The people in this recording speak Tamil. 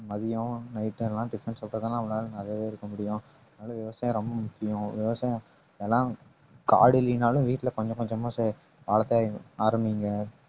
மதியம் night எல்லாம் tiffin இருக்க முடியும் அதனால விவசாயம் ரொம்ப முக்கியம் விவசாயம் எல்லாம் காடு இல்லின்னாலும் வீட்டுல கொஞ்சம் கொஞ்சமா சா~ ஆரம்பிங்க